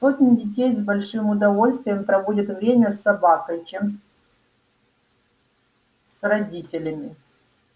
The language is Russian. сотни детей с большим удовольствием проводят время с собакой чем с родителями